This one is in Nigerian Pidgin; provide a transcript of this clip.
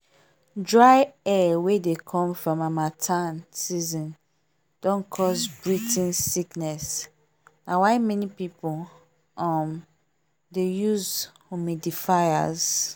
dry air wey dey come from harmattan season don cause breathing sickness na why many people um dey use humidifiers